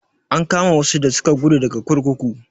An kama wasu da suka guda daga kurkuku.